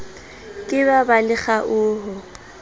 ke ba ba le kgaoho